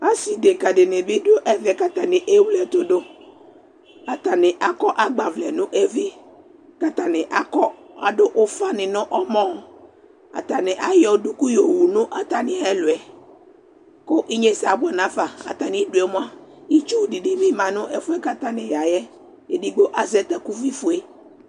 ase deka dini bi do ɛvɛ k'atani ewle ɛto do atani akɔ agbavlɛ no evi k'atani akɔ ado ufa ni no ɔmɔ atani ayɔ duku yowu no atami ɛlòɛ ko inyese aboɛ n'afa atami due moa itsu di bi ma no ɛfoɛ k'atani ya yɛ edigbo azɛ takuvi fue